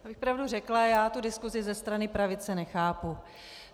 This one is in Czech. Abych pravdu řekla, já tu diskusi ze strany pravice nechápu.